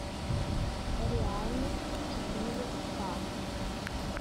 реальность четыре ка